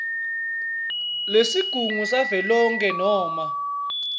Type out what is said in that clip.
lesigungu savelonkhe noma